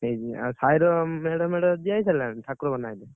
ହେଇଛି ଆଉ ସାହିର ମେଢମେଢ ଦିଆହେଇଥିଲାନା ଠାକୁର ବନାହେତେ।